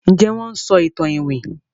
Njé Wón ń sọ ìtàn iwin?